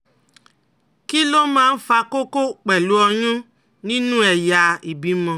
Kí ló máa ń fa koko pelu oyun nínú ẹ̀yà ìbímọ?